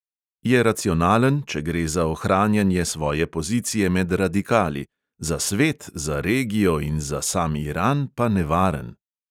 Je racionalen, če gre za ohranjanje svoje pozicije med radikali; za svet, za regijo in za sam iran pa nevaren.